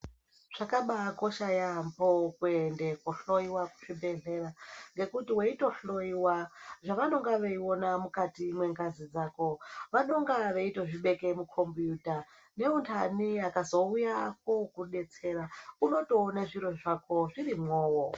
Zvakabakana yambo kuenda kohloiwa kuzvibhedhlera ngekuti waitohloiwa zvavanenge veiona mukati Mengazi dzako vanenge vachitokubeka mukombiyita veindani vakazouya kuzokubetsera unotoona zviro zvako zvirimo.